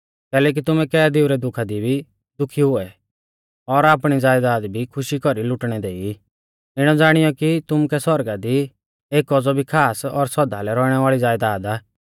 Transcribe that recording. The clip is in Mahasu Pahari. कैलैकि तुमै कैदीऊ रै दुखा दी भी दुखी हुऐ और आपणी ज़यदाद भी खुशी कौरी लुटणै देई इणौ ज़ाणीयौ कि तुमुकै सौरगा दी एक औज़ौ भी खास और सौदा लै रौइणै वाल़ी ज़यदाद आ